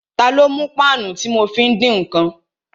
Ta ló mú páànù tí mo fi ń dín ǹkan?